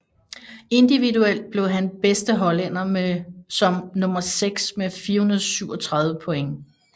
Individuelt blev han bedste hollænder som nummer seks med 437 point